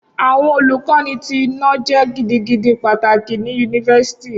Awọn Oluko ti ina- jẹ gidigidi pataki ni University